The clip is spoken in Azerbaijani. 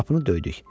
Qapını döydük.